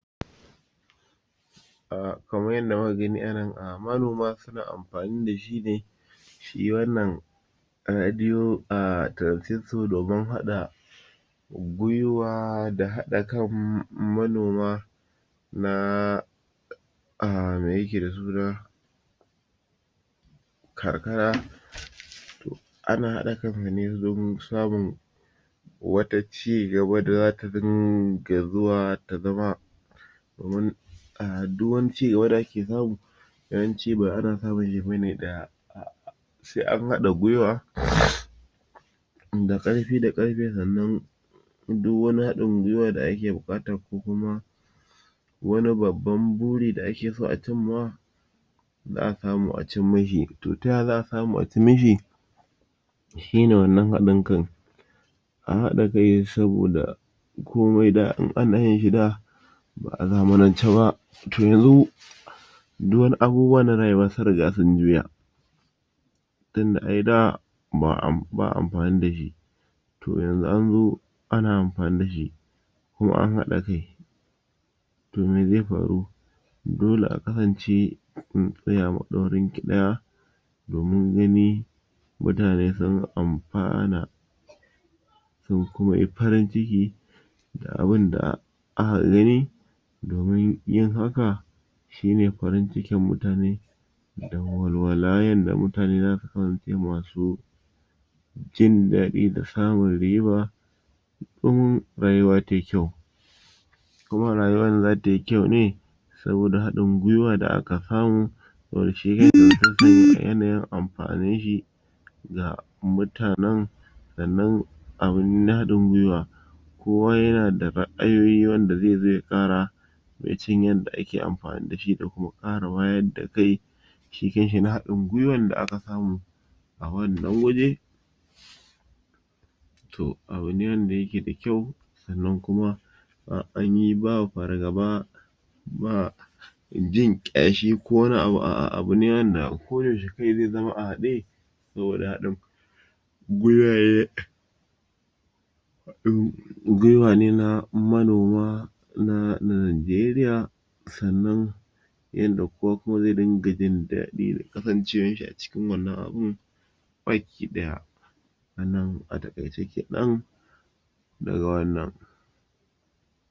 Hanyoyin zamani da ake bi wajen a ga an kiwata irinsu zomo tsuntsaye kamar irin su baru dama kifaye .to shi kamar baru ana amfani da gidaje a da ana musu amfani da wasu tukwane kwarya a ɗaira su a saman bishiya ko a saman gini nan suke yin kiwon su su haife yara su hayayyafa. To amma da zamani ya zo za a gina masu gidaje a yi musu kofar mai guda biyu zuwa uku a yi musu wunduna tagogi kenan ta yadda iska zai rika shiga ta wannan tagogi za su riƙa shiga idan suka fito kiwo. Wasu wuraren a harkar zamani ba ma a fita sai a bar su a ɗaki su yi shawagi ba za su fita ba su na kiwon su a ɗaki ba sa yawo domin gudun raba su da cutarwa ko kuma mutane masu farautar su. Shi kuma kamar zomo shi ma ana masa gida ne, idan aka yi masa gida ana ajiye shi a ɗakin da ake ajiye su ana musu dandamali ne da turɓaya ba a barci ya yi ƙasa saboda shi yana tono ya gudu ta kasa yanda ake yi kenan. Shi kuma kifi ana masa tafkeken dam ne a tara masa ruwa sai lokaci zuwa lokaci ana canza masa ruwa yana kiwo a wannan irin wurare ɗin